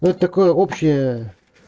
ну это такое общее